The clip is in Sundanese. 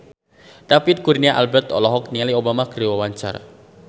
David Kurnia Albert olohok ningali Obama keur diwawancara